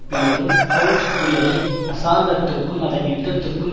பின்னரும் ஹொல்ம்ஸ் கூறியதை அசாங்கத்துக்கும் அதன் யுத்தத்துக்கும்